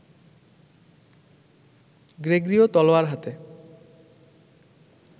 Gregorio তলোয়ার হাতে